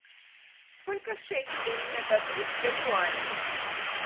сколько шекелей мне дадут за юани